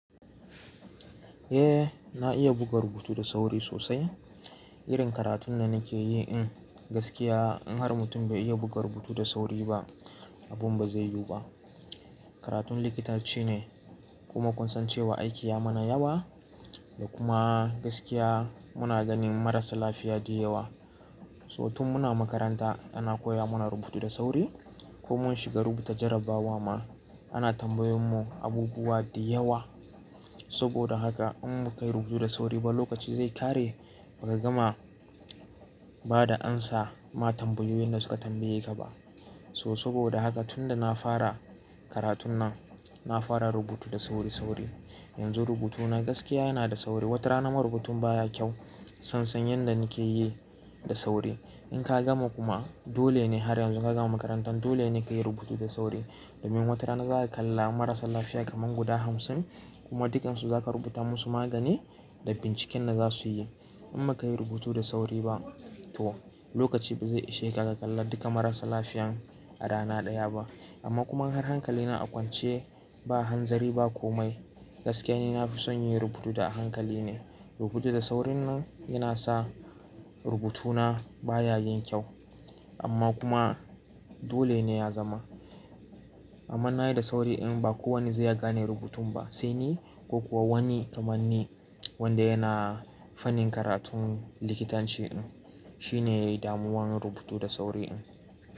Eh na iya rubuta rubutu da sauri sosai. Irin karatun da nake yi in gaskiya in har mutum bai iya rubuta rubutu da sauri ba abun ba zai yiwu ba. Karatun likitanci ne kuma kun san cewa aiki ya mana yawa da kuma gaskiya muna ganin marasa lafiya duk yawa. So tun muna makaranta ana koya mana rubutu da sauri ko mun shiga rubuta jarrabawa ma ana tambayan mu abubuwa duk yawa. Saboda haka in mu kai rubutu da sauri ba lokaci zai ƙare ba ka gama ba da amsa ma tambayoyin da suka tambaye ka ba. So saboda haka tunda na fara karatun nan na fara rubutu da sauri sauri. Yanzu rubutuna gaskiya yana da sauri. Wata rana ma rubutun baya kyau san san yadda nake yi da sauri. In ka gama kuma dole ne har yanzu ka gama makaranta dole ne ka yi rubutu da sauri. Domin wata rana za ka kalla marasa lafiya kaman guda hamsin kuma dukansu za ka rubuta musu magani da binciken da za su yi. In ba ka yi rubutu da sauri ba to lokaci ba zai ishe ka ka kalla duka marasa lafiyan a rana ɗaya ba. Amma kuma in har hankali na a kwance ba hanzari ba komai gaskiya ni na fi son yin rubutu da a hankali ne. Rubutu da saurinnan yana sa rubutuna baya yin kyau amma kuma dole ne ya zama. Amma na yi da sauri in ba kowane zai iya gane rubutun ba sai ni ko kuwa wani kaman ni wanda yana fannin karatun likitanci in shine damuwan rubutu da sauri in.